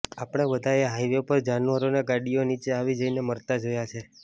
આપણે બધાએ હાઈવે પર જાનવરોને ગાડીઓ નીચે આવી જઈને મરતા જોયા છે